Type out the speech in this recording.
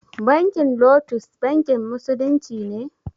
Bankin lotus bankin musulunci ne?